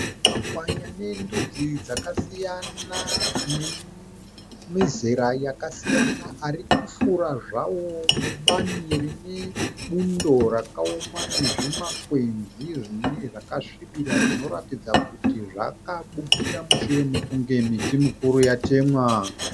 Makwayi ane ndudzi dzakasiyana, ane mizera yakasiyana ari kufura zvawo mubani rine bundo rakaoma nezvimakwenzi zvinenge zvakasvibira zvinorakidza kuti zvakabukira mushure mekunge miti mikuru yatemwa.